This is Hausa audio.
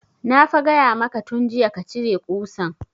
Na fa gaya maka tun jiya ka cire ƙusan